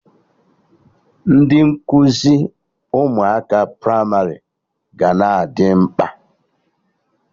Ndị nkuzi ụmụaka pramarị ga na-adị mkpa